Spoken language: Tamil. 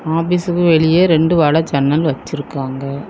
ஆபீஸ்க்கு வெளிய ரெண்டு வலை ஜன்னல் வச்சிருக்காங்க.